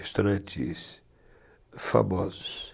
Restaurantes famosos.